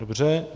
Dobře.